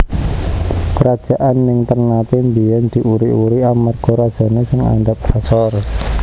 Kerajaan ning Ternate mbiyen diuri uri amarga rajane sing andhap asor